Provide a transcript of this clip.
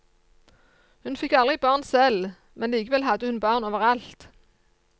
Hun fikk aldri barn selv, men likevel hadde hun barn overalt.